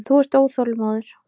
Þú ert óþolinmóður.